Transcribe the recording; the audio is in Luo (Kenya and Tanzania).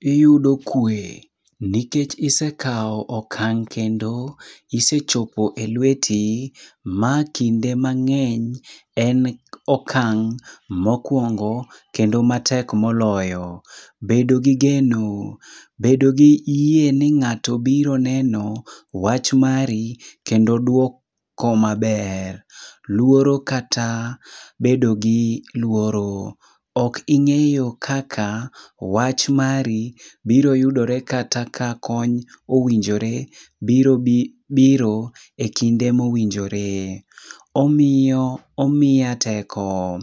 Iyudo kwe, nikech isekaw okang' kendo isechopo e lweti, ma kinde mang'eny en okang' mokwongo kendo matek moloyo. Bedo gi geno, bedo gi yie ni ng'ato biro neno wach mari kendo duoko maber. Luoro kata bedo gi luoro, ok ing'eyo kaka, wach mari biro yudore kata ka kony owinjore biro biro e kinde mowinjore. Omiyo omiya teko,